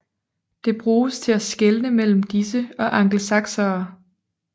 Det bruges til at skelne mellem disse og angelsaksere